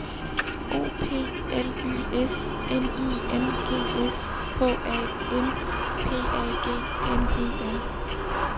O P L Y S N I N G S K A M P A G N E R